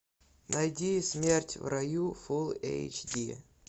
найди смерть в раю фул эйч ди